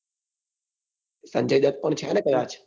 સંજય દત્ત પણ છે ને કદાચ.